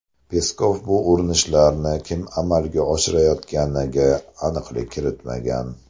Peskov bu urinishlarni kim amalga oshirayotganiga aniqlik kiritmagan.